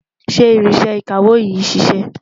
ṣé ìrínsẹ̀ ìkàwó yín ṣiṣẹ?